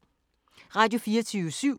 Radio24syv